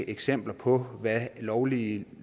eksempler på hvad lovlydige